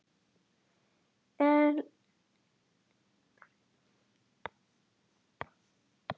Elínbergur, mun rigna í dag?